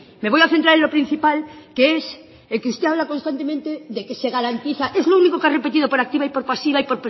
me voy a centrar en lo principal que es que usted habla constantemente de que se garantiza es lo único que ha repetido por activa y por pasiva y